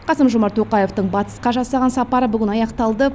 қасым жомарт тоқаевтың батысқа жасаған сапары бүгін аяқталды